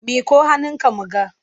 Miƙo hannunka mu ga!